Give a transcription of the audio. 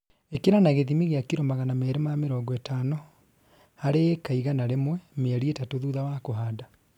Īkĩra na gĩthimi gĩa kiro magana merĩ ma mĩrongo ĩtano harĩ ĩka igana rĩmwe mĩeri ĩtatũ thutha wa kũhanda